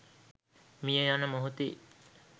මිය යන මොහොතේ